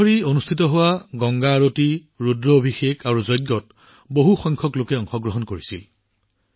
তিনিদিন ধৰি প্ৰতিদিনে অনুষ্ঠিত হোৱা গংগা আৰতি ৰুদ্ৰঅভিষেক আৰু যজ্ঞত বহু সংখ্যক লোকে অংশগ্ৰহণ কৰিছিল